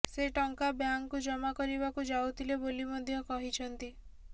ସେ ଟଙ୍କା ବ୍ୟାଙ୍କକୁ ଜମା କରିବାକୁ ଯାଉଥିଲେ ବୋଲି ମଧ୍ୟ କହିଛନ୍ତି